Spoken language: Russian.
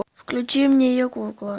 включи мне я кукла